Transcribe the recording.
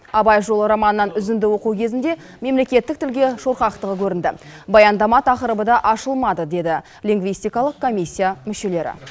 абай жолы романынан үзінді оқу кезінде мемлекеттік тілге шорқақтығы көрінді баяндама тақырыбы да ашылмады деді лингвистикалық комиссия мүшелері